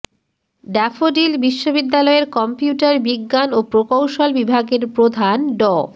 daffodil বিশ্ববিদ্যালয়ের computer বিজ্ঞান ও প্রকৌশল বিভাগের প্রধান ড